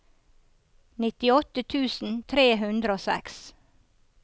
nittiåtte tusen tre hundre og seks